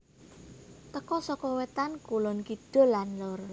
Teka saka wetan kulon kidul lan lor